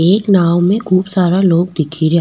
एक नाव में खूब सारा लोग दिखेरया।